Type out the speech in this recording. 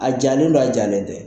A jalen don a jalen tɛ